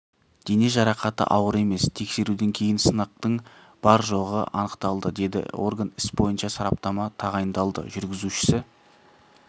дене жарақаты ауыр емес тексеруден кейін сынықтың бар-жоғы анықталады деді орган іс бойынша сараптама тағайындалды жүргізушісі